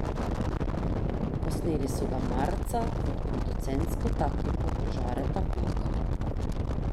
Posneli so ga marca pod producentsko taktirko Žareta Paka.